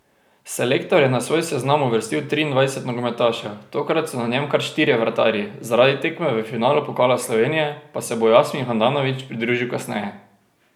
Selektor je na svoj seznam uvrstil triindvajset nogometašev, tokrat so na njem kar štirje vratarji, zaradi tekme v finalu pokala Slovenije pa se bo Jasmin Handanović pridružil kasneje.